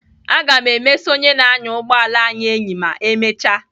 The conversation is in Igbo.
Aga m emesa onye na-anya ụgbọala anyị enyi ma emecha